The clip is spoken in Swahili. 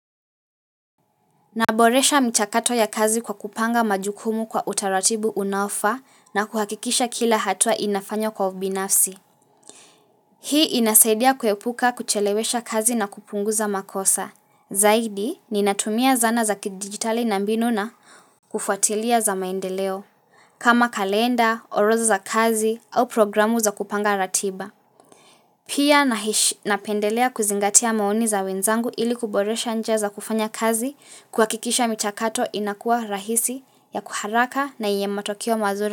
Naboresha mchakato ya kazi kwa kupanga majukumu kwa utaratibu unaofaa na kuhakikisha kila hatua inafanya kwa ubinafsi. Hii inasaidia kuepuka kuchelewesha kazi na kupunguza makosa. Zaidi, ninatumia zana za kidigitali na mbinu na kufuatilia za maendeleo. Kama kalenda, orodha za kazi au programu za kupanga ratiba. Pia napendelea kuzingatia maoni za wenzangu ili kuboresha njia za kufanya kazi kuhakikisha michakato inakuwa rahisi ya kwa haraka na yenye matokeo mazuri.